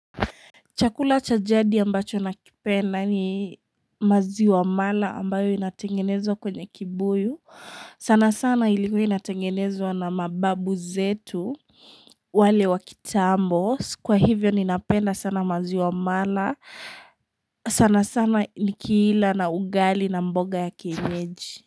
Chakula cha jadi ambacho nakipenda ni maziwa mala ambayo inatengenezwa kwenye kibuyu. Sana sana ilikuwa inatengenezwa na mababu zetu wale wakitambo. Kwa hivyo ninapenda sana maziwa mala. Sana sana ni kiila na ugali na mboga ya kienyeji.